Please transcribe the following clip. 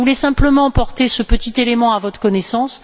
Je voulais simplement porter ce petit élément à votre connaissance.